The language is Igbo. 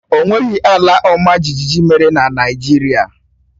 O nweghị ala ọmajiji mere na Naịjirịa